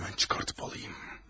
Həmən çıxardıp alayım.